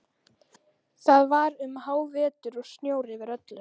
Það var um hávetur og snjór yfir öllu.